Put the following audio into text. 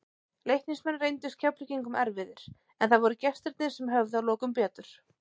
Leiknismenn reyndust Keflvíkingum erfiðir, en það voru gestirnir sem höfðu að lokum betur.